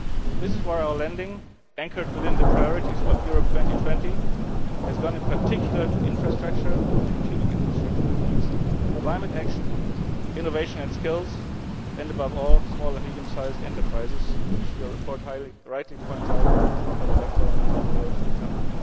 This is why our lending, anchored within the priorities of Europe 2020, has gone in particular to infrastructure that is, to strategic infrastructure climate action, innovation and skills and, above all, small and medium sized enterprises which, as your report rightly points out, are the backbone of Europe's economy.